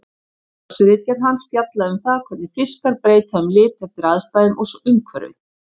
Doktorsritgerð hans fjallaði um það hvernig fiskar breyta um lit eftir aðstæðum og umhverfi.